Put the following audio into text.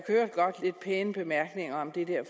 hørte godt lidt pæne bemærkninger om det der